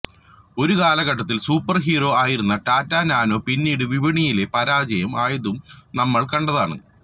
ഒരു കാലഘട്ടത്തിൽ super hero ആയിരുന്ന ടാറ്റ നാനോ പിന്നീട് വിപണിയിലെ പരാജയം ആയതും നമ്മൾ കണ്ടതാണ്